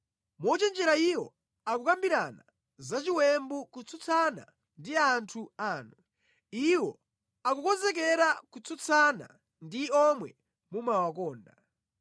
Mochenjera iwo akukambirana za chiwembu kutsutsana ndi anthu anu; Iwo akukonzekera kutsutsana ndi omwe mumawakonda.